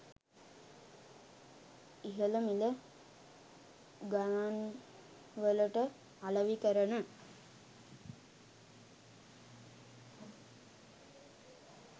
ඉහළ මිල ගණන්වලට අලෙවි කරන